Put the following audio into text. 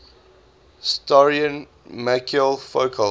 historian michel foucault